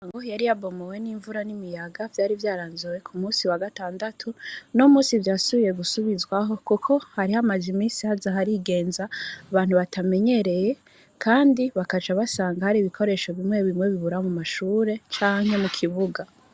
Ngoho yari abomowe n'imvura n'imiyaga vyari vyaranzowe ku musi wa gatandatu no musi vyasubiye gusubizwaho, kuko hari ho amaje imisi haza harigenza abantu batamenyereye, kandi bakaja basang ari ibikoresho bimwe bimwe bibura mu mashure canke mu kibuga.